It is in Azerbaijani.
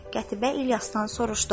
Qətibə İlyasdan soruşdu: